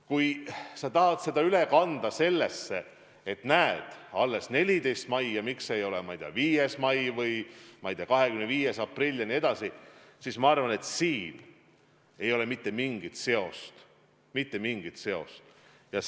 Kui sa tahad seda üle kanda viitesse, et näed, alles 14. mail piir avatakse ja miks see ei ole, ma ei tea, 5. mai või 25. aprill jne, siis ma arvan, et siin ei ole mitte mingit seost – mitte mingit seost!